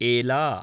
एला